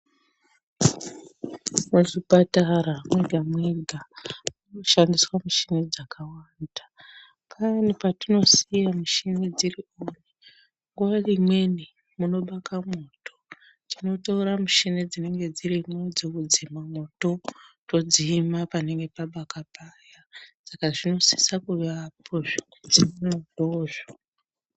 Muzvipatara mwegamwega munoshandiswa mushini dzakawanda payani patinosiye michini dziri oni nguwaimweni munobaka mwoto tinotora mishini dzinenge dzirimwo dzekudzime mwoto todzima panenge pabaka paya sak zvinosisa kuvapo zvekudzime mwotozvo.